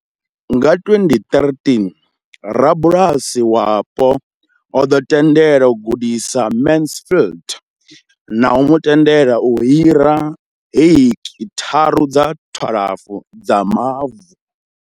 Nga 2013, rabulasi wapo o ḓo tendela u gudisa Mansfield na u mu tendela u hira heki tharu dza 12 dza mavu.